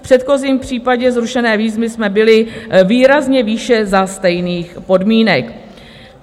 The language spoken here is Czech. V předchozím případě zrušené výzvy jsme byli výrazně výše za stejných podmínek."